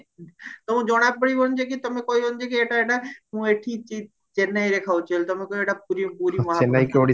ତମକୁ ଜଣାପଡିବନି ଯେ କି ତମେ କହିବନି ଯେ କି ଏଟୀ ଏଟା ମୁଁ ଏଠି ଚି ଚେନ୍ନାଇରେ ଖାଉଚି ବୋଲି ତମେ କହିବ ଏଇଟା ପୁରୀ ମହା